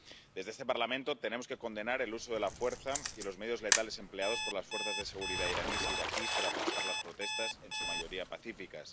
Desde este Parlamento tenemos que condenar el uso de la fuerza y los medios letales empleados por las fuerzas de seguridad iraníes e iraquíes para aplastar las protestas, en su mayoría pacíficas.